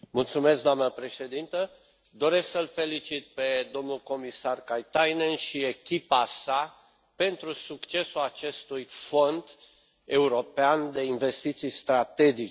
Doamna președintă, doresc să îi felicit pe domnul comisar Katainen și pe echipa sa pentru succesul acestui Fond european de investiții strategice.